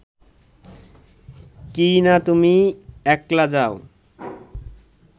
কিইনা তুমি একলা যাও